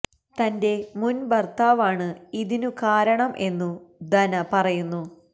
തന്റെ മുന് ഭര്ത്താവാണ് ഇതിനു കാരണം എന്നു ദന പറയുന്നു